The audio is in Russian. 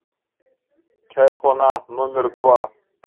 чайхона номер два